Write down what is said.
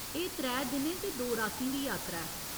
एह् त्रै दिनें ते दो रातीं दी यात्रा ऐ।